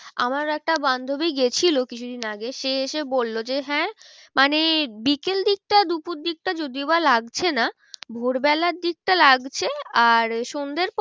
আমার একটা বান্ধবী গেছিলো কিছুদিন আগে সে এসে বললো যে হ্যাঁ মানে বিকেল দিকটা দুপুর দিকটা যদিও বা লাগছে না। ভোর বেলার দিকটা লাগছে আর সন্ধের পর